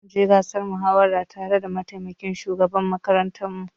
Zamu je gasar muhawarar tare da mataimakin shugaban makarantar mu.